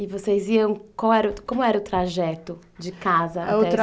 E vocês iam, qual era, como era o trajeto de casa até a escola?